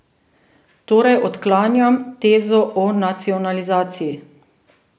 Torej, odklanjam tezo o nacionalizaciji.